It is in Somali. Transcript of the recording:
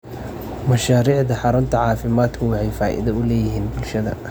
Mashaariicda xarunta caafimaadku waxay faa'iido u leeyihiin bulshada.